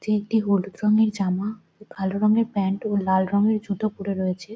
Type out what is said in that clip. যে একটি হলুদ রঙের জামা ও কালো রঙের প্যান্ট ও লাল রঙের জুতো পরে রয়েছে।